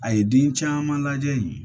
A ye den caman lajɛ yen